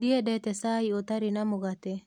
Ndiendete cai ũtarĩ na mũgate.